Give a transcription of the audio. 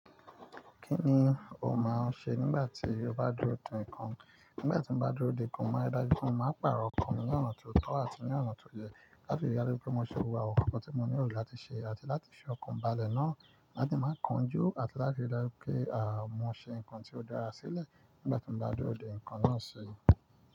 Kí ni o máa ń ṣe nígbà tí o bá dúró dè nǹkan? Nígbà tí mo bá dúró dè nǹkan, mo mári dàjú pé mo máa pààrọ̀ ọkàn mi ní ọ̀nà tó tọ́ àti ní ọ̀nà tó yẹ láti rí i dájú pé mo ṣe òwúrọ̀ ọkọ̀ tí mo nílò láti ṣe àti láti ṣe ọkàn balẹ̀ náà láti má kan jú àti láti rí i dájú pé, à, mo ṣe nǹkan tí ó dára sílẹ̀ nígbà tí mo bá dúró dè nǹkan náà ṣe.